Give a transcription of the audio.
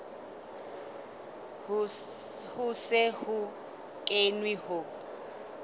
ho se ho kenwe ho